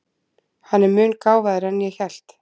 Hann er mun gáfaðri en ég hélt.